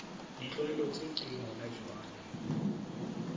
ditlwaelo tse teng hona jwale